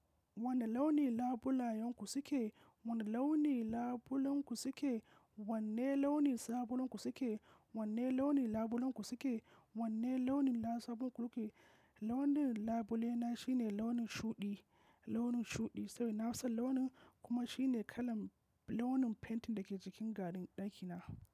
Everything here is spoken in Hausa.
Wane launi labulayen ku su ke? Wane launi labulen ku su ke? Wanne launin sabulun kuke so ke? Wanne launin labulen kuke so ke? Wanne launin sabulun kuke so ke? Launin labule na shine launin shuɗi, launin shuɗi, sabida na fi son launin kuma shine kalan launin fentin da ke jikin garin ɗakina.